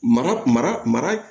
Mara mara